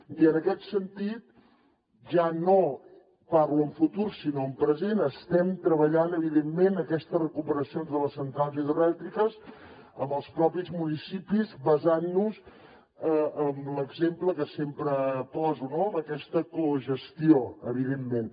i en aquest sentit ja no parlo en futur sinó en present estem treballant evidentment aquestes recuperacions de les centrals hidroelèctriques amb els propis municipis basant nos en l’exemple que sempre poso en aquesta cogestió evidentment